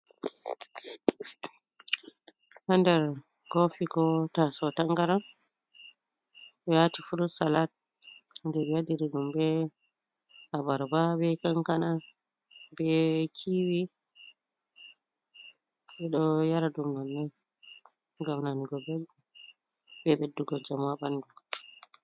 Haa nder kofi ko taso tangaran. Ɓe waati 'fruit salad' je ɓe waɗiri ɗum be abarba be kankana ɓe kiiwii. Ɓe ɗo yara ɗum nonnon ngam nanugo belɗum be ɓeddugo njamu haa ɓandu.